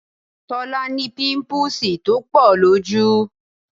Tọ́lá ní pimpuusi tó pọ̀ lójú